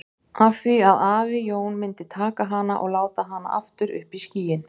Af því að afi Jón myndi taka hana og láta hana aftur upp í skýin.